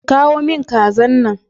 ki kawo min kazan nan.